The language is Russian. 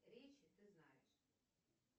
речи ты знаешь